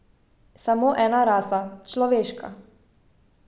Samo ena rasa, človeška.